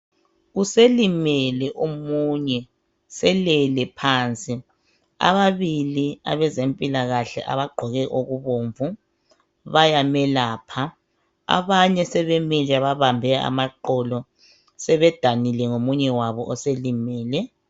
Uselimele omunye selele phansi ababili abezempilakahle abagqoke okubomnvu bayamelapha abanye bamile babambe amaqolo sebedanile ngomunye wabo.